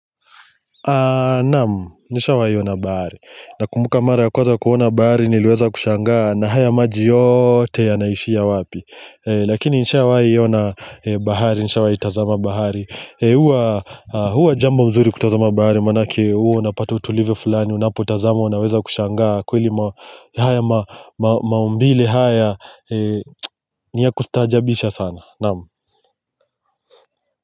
Naamu, nishawai ona bahari, na kumbuka mara ya kwaza kuona bahari niliweza kushangaa na haya maji yote yanaishia wapi Lakini nishawai ona bahari, nishawai itazama bahari Huwa jambo nzuri kutazama bahari, manake huwa napata utulivu fulani, unapo itazama unaweza kushangaa kweli haya maumbile haya, ni ya kustaajabisha sana, naamu.